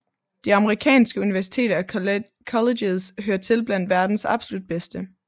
De amerikanske universiteter og colleges hører til blandt verdens absolut bedste